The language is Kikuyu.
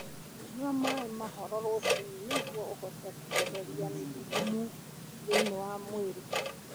Nyua maĩ mahoro rũcinĩ nĩguo ũhote kweheria thumu thĩinĩ wa mwĩrĩ.